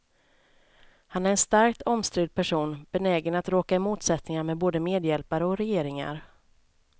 Han är en starkt omstridd person, benägen att råka i motsättningar med både medhjälpare och regeringar.